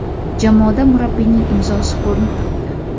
Jamoada murabbiyning imzosi ko‘rinib turibdi.